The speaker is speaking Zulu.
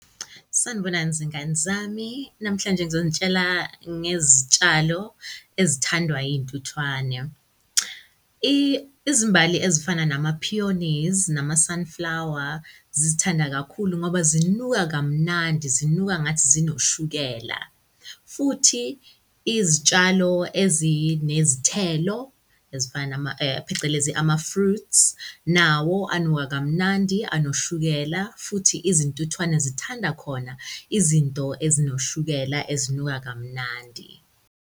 Sanibonani, zingane zami. Namhlanje ngizonitshela ngezitshalo ezithandwa iy'ntuthwane. Izimbali ezifana nama-pioneers nama-sunflower zizithanda kakhulu ngoba zinuka kamnandi, zinuka ngathi zinoshukela. Futhi izitshalo ezinezithelo ezifana phecelezi ama-fruits, nawo anuka kamnandi anoshukela futhi izintuthwane zithanda khona izinto ezinoshukela ezinuka kamnandi.